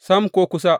Sam, ko kusa!